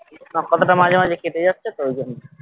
তোমার কথা তা মাঝে মাঝে কেটে যাচ্ছে তো ওই জন্য